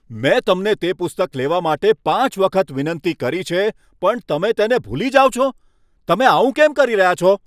મેં તમને તે પુસ્તક લેવા માટે પાંચ વખત વિનંતી કરી છે પણ તમે તેને ભૂલી જાઓ છો, તમે આવું કેમ કરી રહ્યા છો?